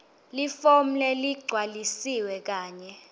lifomu leligcwalisiwe kanye